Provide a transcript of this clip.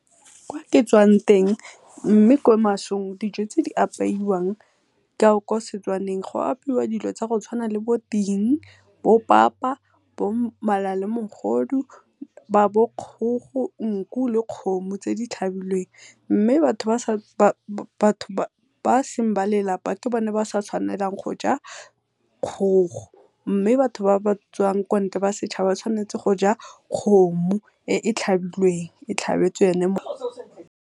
Kwa ke tswang teng mme ko masong dijo tse di apeiwang kwa Setswaneng, go apeiwa dilo tsa go tshwana le bo ting bo papa bo mala le mogodu bo kgogo nku le dikgomo tse di tlhabilweng. Mme batho ba e seng ba lelapa ke bone ba sa tshwanang go ja kgogo, mme batho ba batswang ko ntle ba setšhaba ba tshwanetse go ja kgomo e e tlhabilweng .